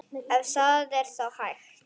Ef það er þá hægt.